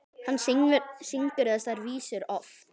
Hann syngur þessar vísur oft.